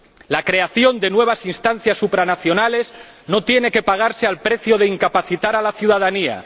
La creación de nuevas instancias supranacionales no tiene que pagarse al precio de incapacitar a la ciudadanía.